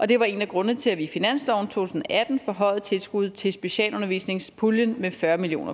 det var en af grundene til at vi i finansloven to tusind og atten forhøjede tilskuddet til specialundervisningspuljen med fyrre million